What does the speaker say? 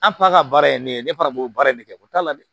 An p a ka baara ye ne ye ne fana b'o baara in de kɛ o t'a la dɛ